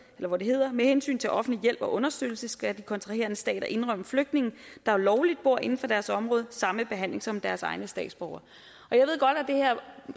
hvor det hedder med hensyn til offentlig hjælp og understøttelse skal de kontraherende stater indrømme flygtninge der lovligt bor inden for deres område samme behandling som deres egne statsborgere